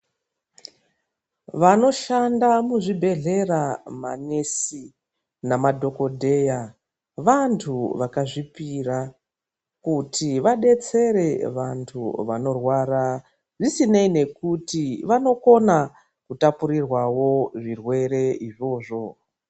Vanoshanda muzvibhedhlera manesi nemadhokodheya vanthu vakazvipira kuti vadetsere vanthu vanorwara zvisinei nekuti vanokona kutapurirwao zvirwere izvozvo.